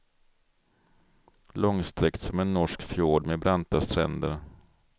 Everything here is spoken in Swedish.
Långsträckt som en norsk fjord med branta stränder.